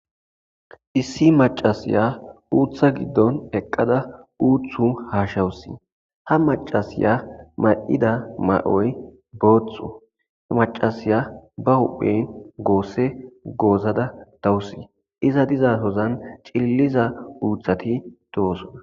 issi macasiya uutha giddon eqqada uuthu haashawusi ha macasiya ma7ida ma7oy booththu macasiya ba hohphen goosse goozada dawusi iza diza hozan cilliza uuthati towosona